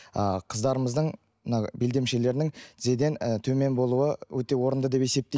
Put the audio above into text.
ы қыздарымыздың мынау белдемшелерінің тізеден і төмен болуы өте орынды деп есептеймін